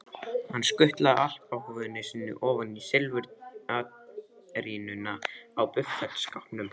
Hann skutlaði alpahúfunni sinni ofan í silfurtarínuna á buffetskápnum.